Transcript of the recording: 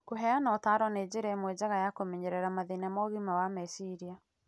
Kũheana ũtaaro nĩ njĩra ĩmwe njega ya kũmenyerera mathĩna ma ũgima wa meciria.